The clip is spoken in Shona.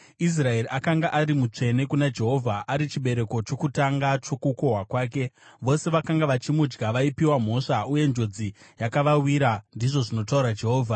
Israeri akanga ari mutsvene kuna Jehovha, ari chibereko chokutanga chokukohwa kwake; vose vakanga vachimudya vaipiwa mhosva, uye njodzi yakavawira,’ ” ndizvo zvinotaura Jehovha.